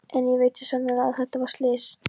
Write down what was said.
En ég veit svo sannarlega að þetta var slys.